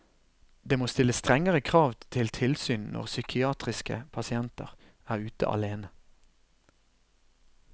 Det må stilles strengere krav til tilsyn når psykiatriske pasienter er ute alene.